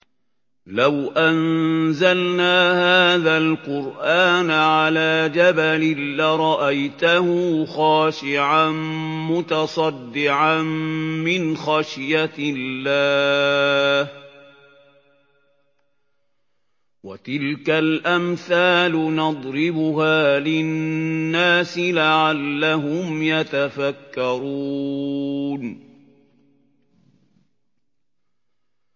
لَوْ أَنزَلْنَا هَٰذَا الْقُرْآنَ عَلَىٰ جَبَلٍ لَّرَأَيْتَهُ خَاشِعًا مُّتَصَدِّعًا مِّنْ خَشْيَةِ اللَّهِ ۚ وَتِلْكَ الْأَمْثَالُ نَضْرِبُهَا لِلنَّاسِ لَعَلَّهُمْ يَتَفَكَّرُونَ